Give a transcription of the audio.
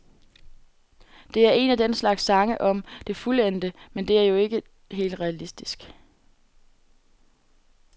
Det er en af den slags sange om det fuldendte, men det er jo ikke helt realistisk.